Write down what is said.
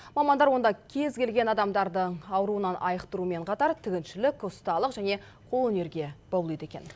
мамандар онда кез келген адамдарды ауруынан айықтырумен қатар тігіншілік ұсталық және қолөнерге баулиды екен